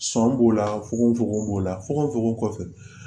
Sɔn b'o la fogofogo fogo b'o la fogofogo kɔfɛ